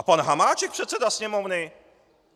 A pan Hamáček, předseda Sněmovny!